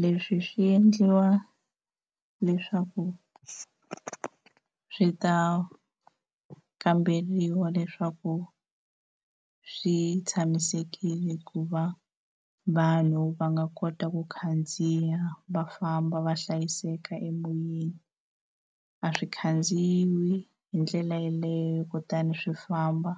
Leswi swi endliwa leswaku swi ta kamberiwa leswaku swi tshamisekile ku va vanhu va nga kota ku khandziya va famba va hlayiseka emoyeni, a swi khandziyi hi ndlela yeleyo kutani swi famba